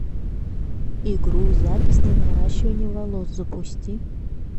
игру запись на наращивание волос запусти